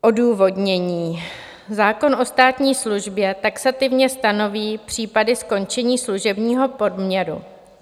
Odůvodnění: Zákon o státní službě taxativně stanoví případy skončení služebního poměru.